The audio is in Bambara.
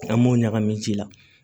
An m'o ɲagami ji la